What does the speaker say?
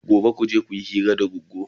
Gobe kuje kuyi hira da Goggo!